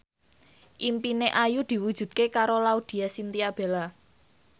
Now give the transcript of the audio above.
impine Ayu diwujudke karo Laudya Chintya Bella